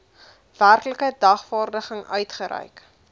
werklike dagvaarding uitgereik